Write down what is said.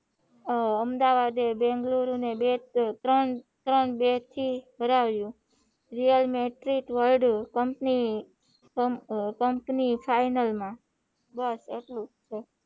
અમદાવાદે બેંગ્લુરુ માં ત્રણ ત્રણ બે થી હરાવ્યું real metric world company final માં બસ એટલુંજ,